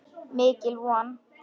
Mikil von.